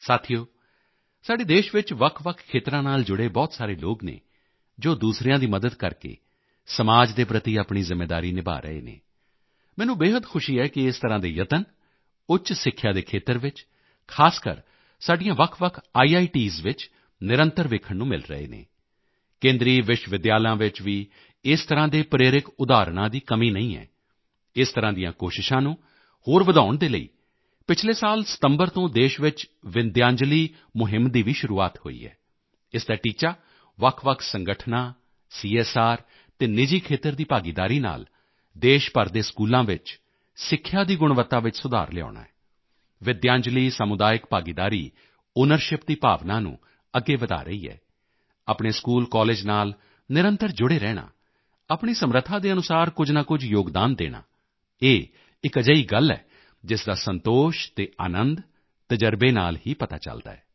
ਸਾਥੀਓ ਸਾਡੇ ਦੇਸ਼ ਵਿੱਚ ਵੱਖਵੱਖ ਖੇਤਰਾਂ ਨਾਲ ਜੁੜੇ ਬਹੁਤ ਸਾਰੇ ਲੋਕ ਹਨ ਜੋ ਦੂਸਰਿਆਂ ਦੀ ਮਦਦ ਕਰਕੇ ਸਮਾਜ ਦੇ ਪ੍ਰਤੀ ਆਪਣੀ ਜ਼ਿੰਮੇਵਾਰੀ ਨਿਭਾ ਰਹੇ ਹਨ ਮੈਨੂੰ ਬੇਹੱਦ ਖੁਸ਼ੀ ਹੈ ਕਿ ਇਸ ਤਰ੍ਹਾਂ ਦੇ ਯਤਨ ਉੱਚ ਸਿੱਖਿਆ ਦੇ ਖੇਤਰ ਵਿੱਚ ਖ਼ਾਸ ਕਰਕੇ ਸਾਡੀਆਂ ਵੱਖਵੱਖ ਆਈਆਈਟੀਜ਼ ਵਿੱਚ ਨਿਰੰਤਰ ਵੇਖਣ ਨੂੰ ਮਿਲ ਰਹੇ ਹਨ ਕੇਂਦਰੀ ਵਿਸ਼ਵ ਵਿੱਦਿਆਲਾ ਵਿੱਚ ਵੀ ਇਸ ਤਰ੍ਹਾਂ ਦੇ ਪ੍ਰੇਰਕ ਉਦਾਹਰਣਾਂ ਦੀ ਕਮੀ ਨਹੀਂ ਹੈ ਇਸ ਤਰ੍ਹਾਂ ਦੀਆਂ ਕੋਸ਼ਿਸ਼ਾਂ ਨੂੰ ਹੋਰ ਵਧਾਉਣ ਦੇ ਲਈ ਪਿਛਲੇ ਸਾਲ ਸਤੰਬਰ ਤੋਂ ਦੇਸ਼ ਵਿੱਚ ਵਿਦਯਾਂਜਲੀ ਮੁਹਿੰਮ ਦੀ ਵੀ ਸ਼ੁਰੂਆਤ ਹੋਈ ਹੈ ਇਸ ਦਾ ਟੀਚਾ ਵੱਖਵੱਖ ਸੰਗਠਨਾਂ ਸੀਐੱਸਆਰ ਅਤੇ ਨਿਜੀ ਖੇਤਰ ਦੀ ਭਾਗੀਦਾਰੀ ਨਾਲ ਦੇਸ਼ ਭਰ ਦੇ ਸਕੂਲਾਂ ਵਿੱਚ ਸਿੱਖਿਆ ਦੀ ਗੁਣਵੱਤਾ ਵਿੱਚ ਸੁਧਾਰ ਲਿਆਉਣਾ ਹੈ ਵਿਦਯਾਂਜਲੀ ਸਮੁਦਾਇਕ ਭਾਗੀਦਾਰੀ ਆਊਨਰਸ਼ਿਪ ਦੀ ਭਾਵਨਾ ਨੂੰ ਅੱਗੇ ਵਧਾ ਰਹੀ ਹੈ ਆਪਣੇ ਸਕੂਲ ਕਾਲੇਜ ਨਾਲ ਨਿਰੰਤਰ ਜੁੜੇ ਰਹਿਣਾ ਆਪਣੀ ਸਮਰੱਥਾ ਦੇ ਅਨੁਸਾਰ ਕੁਝ ਨਾ ਕੁਝ ਯੋਗਦਾਨ ਦੇਣਾ ਇਹ ਇੱਕ ਅਜਿਹੀ ਗੱਲ ਹੈ ਜਿਸ ਦਾ ਸੰਤੋਸ਼ ਅਤੇ ਅਨੰਦ ਤਜ਼ਰਬੇ ਨਾਲ ਹੀ ਪਤਾ ਚਲਦਾ ਹੈ